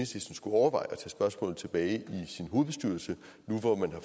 skulle overveje spørgsmålet tilbage i sin hovedbestyrelse nu hvor man har